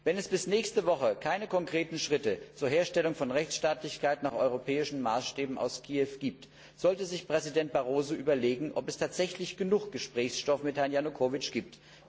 Wenn es bis nächste Woche keine konkreten Schritte zur Herstellung von Rechtsstaatlichkeit nach europäischen Maßstäben aus Kiew gibt, sollte sich Präsident Barroso überlegen, ob es tatsächlich genug Gesprächsstoff mit Herrn Janukowitsch gibt.